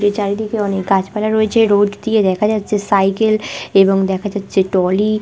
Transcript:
যে চারিদিকে অনেক গাছপালা রয়েছে রোড দিয়ে দেখা যাচ্ছে সাইকেল এবং দেখা যাচ্ছে টলি।